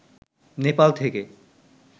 নেপাল থেকে